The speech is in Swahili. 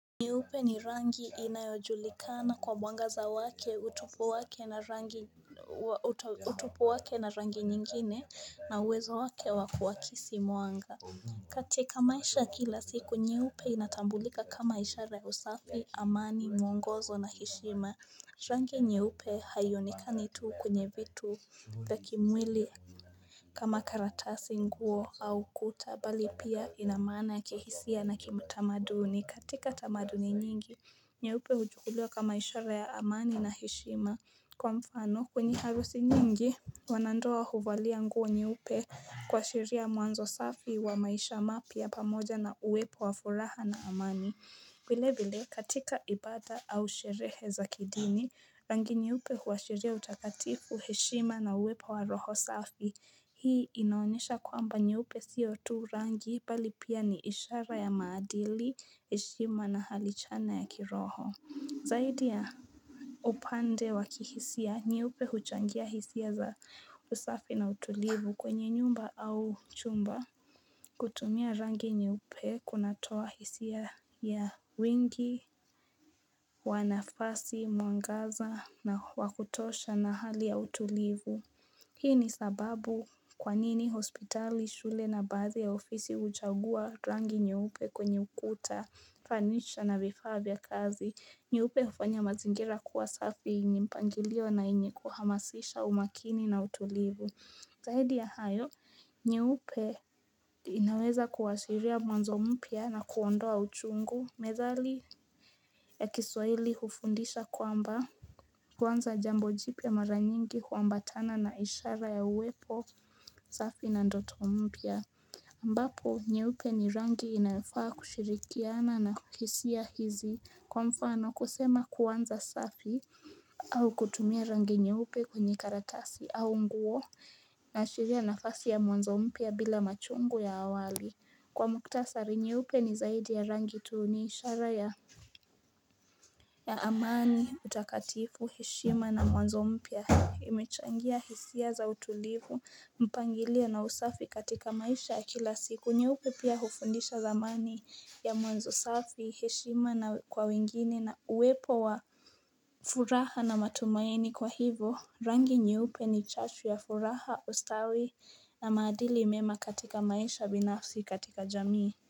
Nyeupe ni rangi inayojulikana kwa mwangaza wake utupu wake na rangi utupu wake na rangi nyingine na uwezo wake wa kuakisi mwanga. Katika maisha kila siku nyeupe inatambulika kama ishara ya usafi, amani, mwongozo na heshima. Rangi nyeupe haionekani tu kwenye vitu vya kimwili kama karatasi nguo au kuta bali pia ina maana kihisia na kiutamaduni. Katika tamaduni nyingi, nyeupe huchukuliwa kama ishara ya amani na heshima. Kwa mfano, kwenye harusi nyingi wanandoa huvalia nguo nyeupe kuashiria mwanzo safi wa maisha mapya pamoja na uwepo wa furaha na amani. Vile vile, katika ibaada au sherehe za kidini, rangi nyeupe huashiria utakatifu heshima na uwepo wa roho safi. Hii inaonyesha kwamba nyeupe siyo tu rangi, bali pia ni ishara ya maadili, heshima na hali chana ya kiroho. Zaidi ya upande wa kihisia, nyeupe huchangia hisia za usafi na utulivu kwenye nyumba au chumba. Kutumia rangi nyeupe kunatoa hisia ya wingi, wa nafasi, mwangaza na wa kutosha na hali ya utulivu Hii ni sababu kwa nini hospitali, shule na baadhi ya ofisi huchagua rangi nyeupe kwenye ukuta, fanicha na vifaa vya kazi. Nyeupe hufanya mazingira kuwa safi yenye mpangilio na yenye kuhamasisha umakini na utulivu Zaidi ya hayo, nyeupe inaweza kuashiria mwanzo mpya na kuondoa uchungu, methali ya kiswahili hufundisha kwamba kuanza jambo jipya mara nyingi huambatana na ishara ya uwepo, safi na ndoto mpya ambapo, nyeupe ni rangi inayofaa kushirikiana na kukisia hizi kwa mfano kusema kuanza safi au kutumia rangi nyeupe kwenye karatasi au nguo inaashiria nafasi ya mwanzo mpya bila machungu ya awali kwa muhtasari nyeupe ni zaidi ya rangi tu ni ishara ya ya amani utakatifu heshima na mwanzo mpya imechangia hisia za utulivu mpangilio na usafi katika maisha ya kila siku nyeupe pia hufundisha dhamani ya mwanzo safi heshima na kwa wengine na uwepo wa furaha na matumaini kwa hivyo rangi nyeupe ni chachu ya furaha ustawi na maadili mema katika maisha binafsi katika jamii.